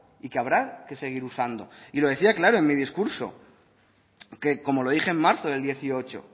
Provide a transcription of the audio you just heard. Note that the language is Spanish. y que habrá que seguir usando y lo decía claro en mi discurso que como lo dije en marzo del dieciocho